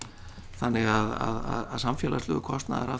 þannig að samfélagslegur kostnaður af